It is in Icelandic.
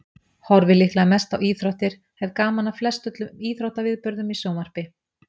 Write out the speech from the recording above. Horfi líklega mest á íþróttir, hef gaman af flestöllum íþróttaviðburðum í sjónvarpi.